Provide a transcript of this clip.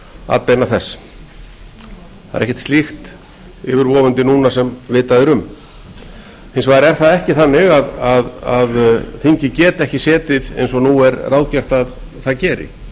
atbeina þess það er ekkert slíkt yfirvofandi núna sem vitað er um hins vegar er það ekki þannig að þingið geti ekki setið eins og nú er ráðgert að það geri